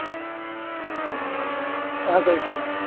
આગળ સેન,